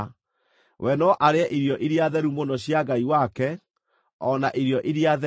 We no arĩe irio iria theru mũno cia Ngai wake, o na irio iria theru;